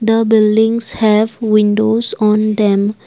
the buildings have windows on them.